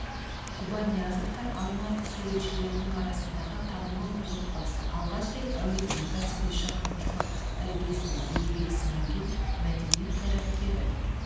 жұбаниязовтар алматы суретшілерінің арасындағы танымал отбасы алғаш рет әулеттің кәсіби шығармашылық іргесін еңбек сіңірген мәдениет қайраткері